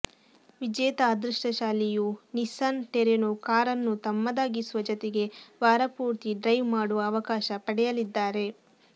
ವಿಜೇತ ಅದೃಷ್ಟಶಾಲಿಯು Nissan Terrano ಕಾರನ್ನು ತಮ್ಮದಾಗಿಸುವ ಜತೆಗೆ ವಾರಪೂರ್ತಿ ಡ್ರೈವ್ ಮಾಡುವ ಅವಕಾಶ ಪಡೆಯಲಿದ್ದಾರೆ